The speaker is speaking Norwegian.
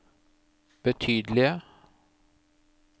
betydelige